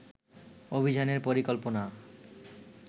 অভিযানের পরিকল্পনা